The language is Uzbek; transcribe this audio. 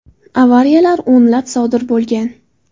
Avariyalar o‘nlab sodir bo‘lgan.